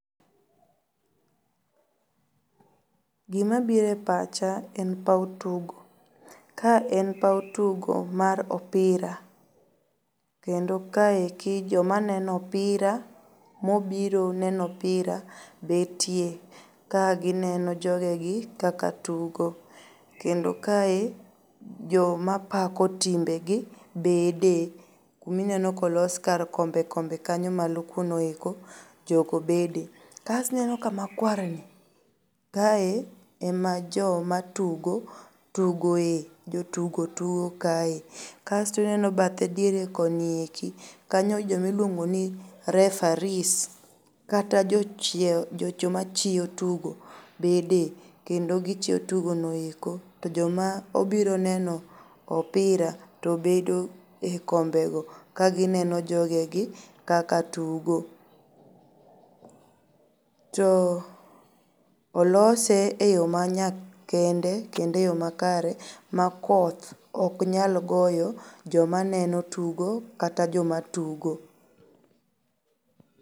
Gima biro e pacha en paw tugo. Ka en paw tugo mar opira kendo kaeki jo maneno opira mobiro neno opira betie ka gineno jogegi kaka tugo. Kendo kae jo mapako timbe gi bede. Kumineno kolos kar kombe kombe kanyo malo kunoeko joko bede. Kasto ineno kama kwarni, kae ema joma tugo tugoe. Jotugo tugo kae. Kasto ineno bathe diere konieki kanyo joma iluongo ni referees kata jochiew, jocho machiew tugo bede. Kendo gichiew tugo noeko to joma obiro neno opira to bedo e kombe go ka gineno jogegi kaka tugo. To olose e yo manyakende kendo e yo makare ma kodh oknyal goyo jomaneno tugo kata jomatugo.